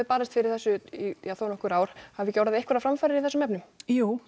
barist fyrir þessu í þónokkur ár hafa ekki orðið einhverjar framfarir í þessum efnum jú